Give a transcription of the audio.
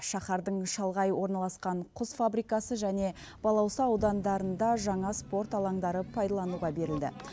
шаһардың шалғай орналасқан құс фабрикасы және балауса аудандарында жаңа спорт алаңдары пайдалануға берілді